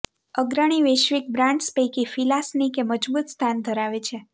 અગ્રણી વૈશ્વિક બ્રાન્ડ્સ પૈકી ફિલા સ્નીકે મજબૂત સ્થાન ધરાવે છે